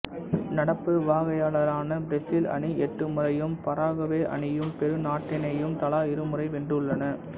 நடப்பு வாகையாளரான பிரேசில் அணி எட்டு முறையும் பராகுவே அணியும் பெரு நாட்டணியும் தலா இருமுறை வென்றுள்ளன